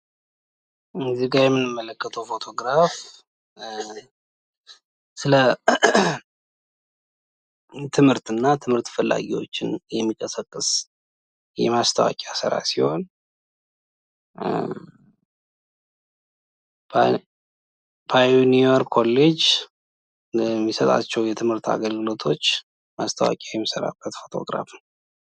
እዚጋ የምንመለከተው ፎቶግራፍ ትምህርትና የትምህርት ፈላጊዎች የሚቀሰቅስ ማስታወቂያ ሲሆን ፕዮኒየር ኮሌጅ የሚሰጣቸው የትምህርት አገልግሎቶች ማስታወቂያ የሚሰራበት ፎቶ ግራፍ ነው።